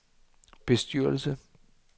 bestyrelse